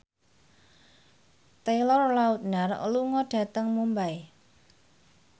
Taylor Lautner lunga dhateng Mumbai